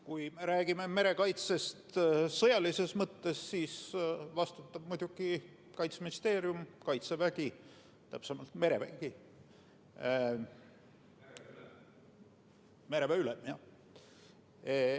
Kui me räägime merekaitsest sõjalises mõttes, siis vastutab muidugi Kaitseministeerium, Kaitsevägi, täpsemalt merevägi, mereväe ülem.